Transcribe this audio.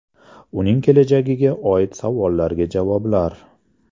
Uning kelajagiga oid savollarga javoblar.